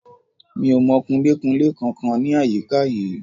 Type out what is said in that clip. Mi ò mọ Kunlé-kunlé kankan ní àyíká yìí.